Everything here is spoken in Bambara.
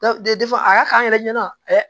a y'a k'an yɛrɛ ɲɛna